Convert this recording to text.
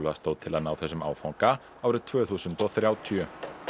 stóð til að ná þessum áfanga árið tvö þúsund og þrjátíu